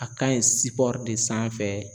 A ka ɲi de sanfɛ